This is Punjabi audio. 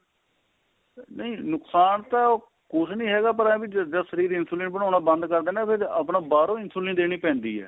ਨਹੀਂ ਨੁਕਸਾਨ ਤਾਂ ਉਹ ਕੁੱਝ ਨੀਂ ਹੈਗਾ ਪਰ ਇਹ ਏ ਵੀ ਜਦ ਸ਼ਰੀਰ insulin ਬਨਾਣਾ ਬੰਦ ਕਰ ਦੇ ਨਾ ਫਿਰ ਆਪਣਾ ਬਾਹਰੋ insulin ਦੇਣੀ ਪੈਂਦੀ ਏ